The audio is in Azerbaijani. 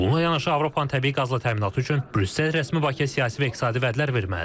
Bununla yanaşı Avropanın təbii qazla təminatı üçün Brüssel rəsmi Bakıya siyasi və iqtisadi vədlər verməlidir.